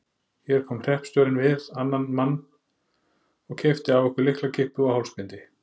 Hér kom hreppstjórinn við annan mann og keypti af okkur lyklakippu og hálsbindi.